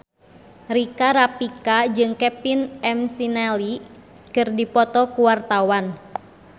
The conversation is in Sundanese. Rika Rafika jeung Kevin McNally keur dipoto ku wartawan